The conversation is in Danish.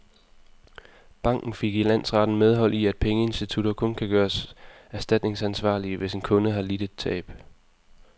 Banken fik i landsretten medhold i, at pengeinstitutter kun kan gøres erstatningsansvarlige, hvis en kunde har lidt et tab.